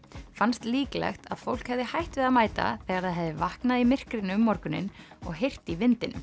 fannst líklegt að fólk hefði hætt við að mæta þegar það hefði vaknað í myrkrinu um morguninn og heyrt í vindinum